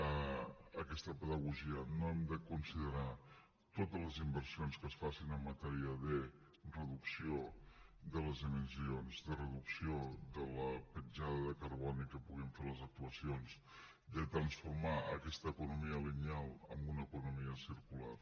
a aquesta pedagogia no hem de considerar totes les inversions que es facin en matèria de reducció de les emissions de reducció de la petjada de carboni que puguin fer les actuacions de transformar aquesta economia lineal en una economia circular